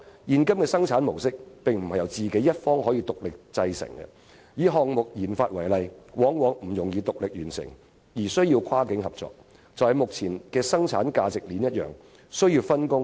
現今的生產模式確實不能由自己一方獨力製成，以項目研發為例，往往不易獨力完成，需要跨境合作，一如目前的生產價值鏈般，必須分工。